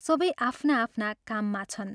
सबै आफ्ना आफ्ना काममा छन्।